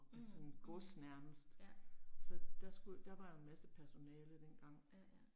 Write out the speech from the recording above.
Mh, mh, ja. Ja ja